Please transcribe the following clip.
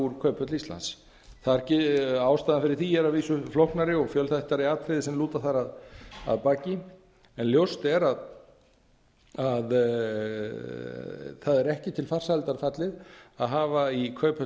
úr kauphöll íslands ástæðan fyrir því er að vísu flóknari og fjölþættari atriði sem liggja þar að baki en ljóst er að það er ekki til farsældar fallið að hafa í kauphöll